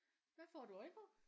Hvad får du øje på?